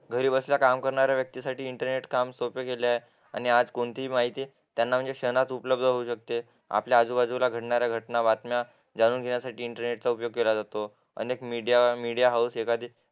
घरी काम करणाऱ्या व्यक्ती साठी इंटरनेटचं काम सोपं केलं आहे अन आज कोणतीही माहिती त्यांना क्षणात उपलब्थ होऊ शकते आपल्या आजूबाजूला घडणाऱ्या घटना जाणून घेण्यासाठी इंटरनेटचा उपयोग केला जातो अनेक मीडिया हाऊस